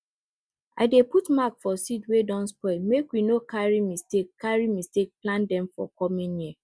i dey put mark for seeds wey don spoil make we no carry mistake carry mistake plant dem for coming year